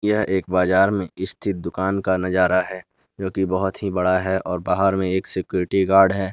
यह एक बाजार मे स्थित दुकान का नजारा है जोकि बहोत ही बड़ा है और बाहर में एक सिक्योरिटी गार्ड है।